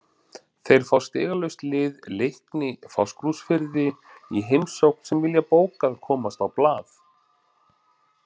Þeir fá stigalaust lið Leikni Fáskrúðsfirði í heimsókn sem vilja bókað komast á blað.